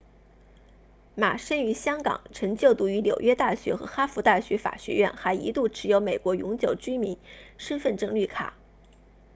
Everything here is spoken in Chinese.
马生于香港曾就读于纽约大学和哈佛大学法学院还一度持有美国永久居民身份证绿卡